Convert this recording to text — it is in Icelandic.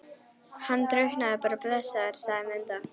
Hann drukknaði bara blessaður, sagði Munda.